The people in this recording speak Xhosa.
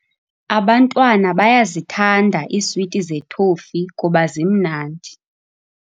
Abantwana bayazithanda iiswiti zethofi kuba zimnandi.